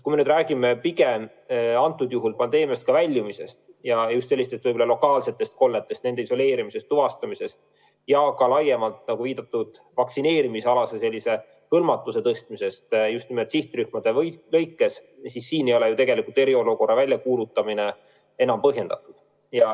Kui me aga räägime praegu pigem pandeemiast väljumisest ja just sellistest lokaalsetest kolletest, nende isoleerimisest, tuvastamisest ja ka laiemalt, nagu viidatud, vaktsineerimisalase hõlmatuse tõstmisest just nimelt sihtrühmade lõikes, siis sel juhul ei ole ju tegelikult eriolukorra väljakuulutamine põhjendatud.